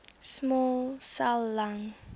small cell lung